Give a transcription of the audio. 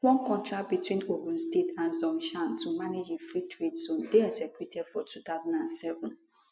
one contract between ogun state and zhongshan to manage a freetrade zone dey executed for 2007